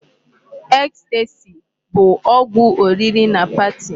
Ecstasy bụ ọgwụ oriri na party.